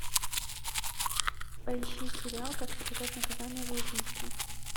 поищи сериал как избежать наказания за убийство